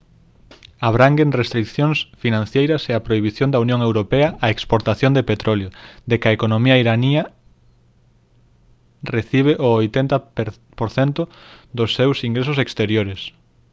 abranguen restricións financeiras e a prohibición da unión europea á exportación de petróleo da que a economía iraniana recibe o 80 % dos seus ingresos exteriores